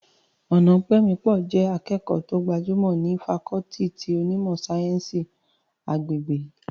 Ọnaọpẹmipọ jẹ́ akẹ́kọ̀ọ́ tí ó gbajúmọ̀ ní fakọọti ti onímọ̀ sáyẹ́ǹsì agbègbè